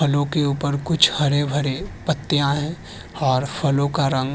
फलों के ऊपर कुछ हरे भरे पत्तियां हैं और फलों का रंग --